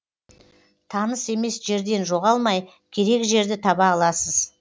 таныс емес жерден жоғалмай керек жерді таба аласыз